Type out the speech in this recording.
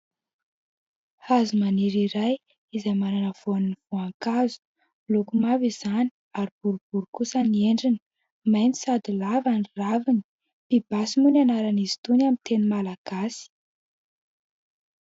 Hazo maniry iray izay manana voany voankazo ; miloko mavo izany ary boribory kosa ny endriny ; maitso sady lava ny raviny. Pibasy moa ny anaran'izy itony amin'ny teny malagasy.